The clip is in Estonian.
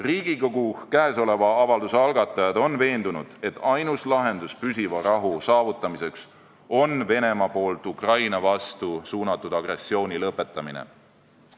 Riigikogu avalduse algatajad on veendunud, et ainus lahendus püsiva rahu saavutamiseks on Venemaa poolt Ukraina vastu suunatud agressiooni lõpetamine.